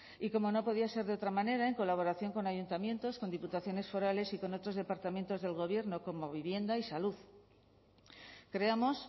y como no podía ser de otra manera en colaboración con ayuntamientos con diputaciones forales y con otros departamentos del gobierno como vivienda y salud creamos